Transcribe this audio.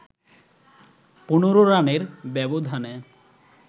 ১৫ রানের ব্যবধানে